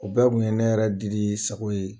O bɛɛ kun ye ne yɛrɛ Didi sago yeee